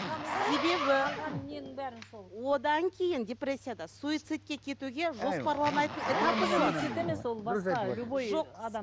себебі одан кейін депрессияда суицидке кетуге жоспарланатын этабы болады